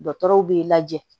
Dɔgɔtɔrɔw b'i lajɛ